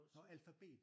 Nårh alfabet!